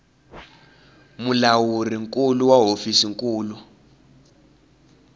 mulawuri nkulu wa hofisi nkulu